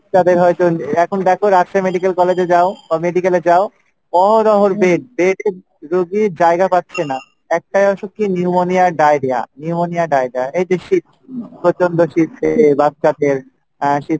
এখন দেখো Rajshahi medical college এ যাও বা medical এ যাও, bed , bed এ রুগী জায়গা পাচ্ছে না, একটাই অসুখ কী Pneumonia আর Diarrhea, Pneumonia আর Diarrhea এইযে শীত প্রচণ্ড শীতে আহ বাচ্চাদের আহ শীত